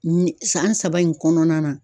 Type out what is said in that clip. Ni san saba in kɔnɔna na.